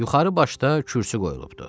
Yuxarı başda kürsü qoyulubdur.